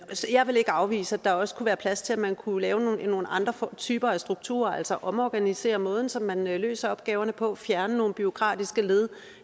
jeg vil ikke afvise at der også kunne være plads til at man kunne lave nogle andre typer af strukturer altså omorganisere måden som man løser opgaverne på fjerne nogle bureaukratiske led